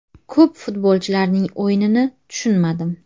Ko‘p futbolchilarning o‘yinini tushunmadim.